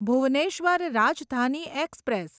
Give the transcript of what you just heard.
Bhubaneswar Rajdhani express